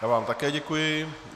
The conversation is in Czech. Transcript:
Já vám také děkuji.